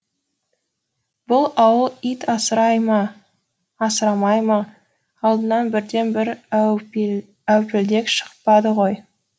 бұл ауыл ит асырай ма асырамай ма алдынан бірде бір әупілдек шықпады ғой